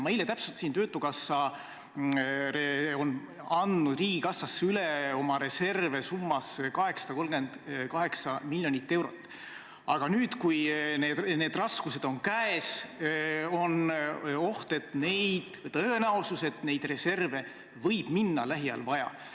Ma eile täpsustasin: töötukassa on andnud riigikassasse oma reserve üle summas 838 miljonit eurot, aga nüüd, kui raskused on käes, on oht või tõenäosus, et neid reserve võib lähiajal vaja minna.